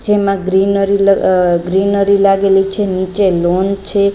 જેમાં ગ્રીનરી લ અ ગ્રીનરી લાગેલી છે નીચે લૉન છે.